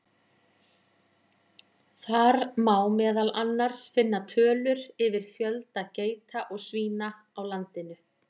Þar má meðal annars finna tölur yfir fjölda geita og svína á landinu.